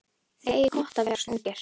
Þið eigið gott að vera svona ungir.